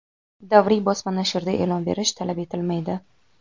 Davriy bosma nashrda e’lon berish talab etilmaydi.